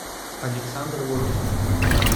александр логинов